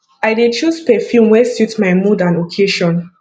i dey choose perfume wey suit my mood and occasion